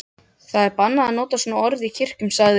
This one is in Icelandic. Það er bannað að nota svona orð í kirkjum, sagði